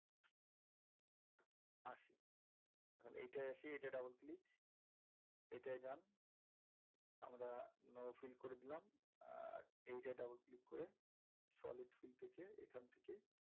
আসি এখন এইটায় আসি এইটায় double click এটায় যান আমরা no fill করে দিলাম আর এইটা double click করে solid fill থেকে এইখান থেকে,